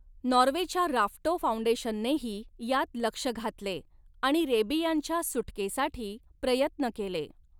नॉर्वेच्या Rafto फौंडेशननेही यात लक्ष घातले आणि रेबियांच्या सुटकेसाठी प्रयत्न केले.